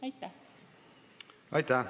Aitäh!